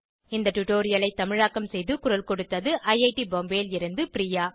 இந்த டுடோரியலை தமிழாக்கம் செய்து குரல் கொடுத்தது ஐஐடி பாம்பேவில் இருந்து பிரியா